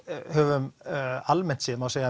höfum almennt séð má segja